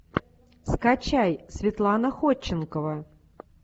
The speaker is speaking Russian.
скачай светлана ходченкова